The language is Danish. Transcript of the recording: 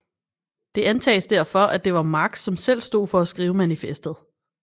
Det antages derfor at det var Marx som selv stod for at skrive manifestet